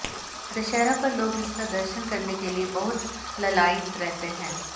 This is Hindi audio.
दशहरा पर लोग इसका दर्शन करने के लिये बहुत ललायित रहते हैं